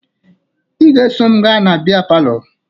Ị ga-eso m gaa na bịa palọ